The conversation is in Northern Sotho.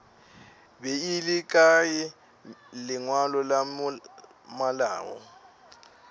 beile kae lengwalo la malao